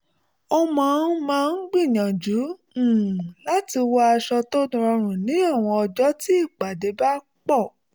ó máa máa ń gbíyànjú um láti wọ aṣọ tó rọrùn ní àwọn ọjọ́ tí ìpàdé bá pọ̀